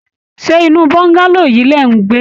Ṣé inú bongalow yií lẹ̀ ń gbé?